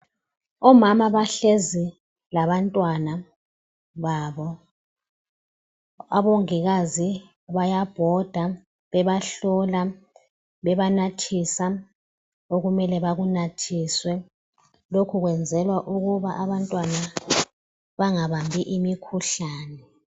Omama bahlezi labantwana babo, abongikazi bayabhoda bebahlola, bebanathisa okumele bakunathiswe. Lokhu kwenzelwa ukuthi abantwana bangabambi imikhuhlane.